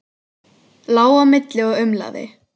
Lá á milli og umlaði.